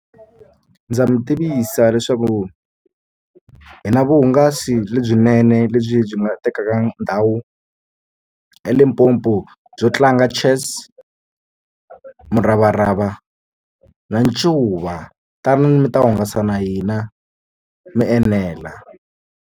Ndza mi tivisa leswaku hi na vuhungasi lebyinene lebyi byi nga tekaka ndhawu eLimpopo byo tlanga chess muravarava ni ncuva tanani mi ta hungasa na hina mi enela.